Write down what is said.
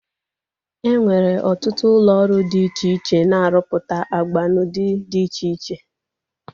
E nwere ọtụtụ ụlọ ọrụ dị iche iche na-arụpụta agba n'ụdị dị iche iche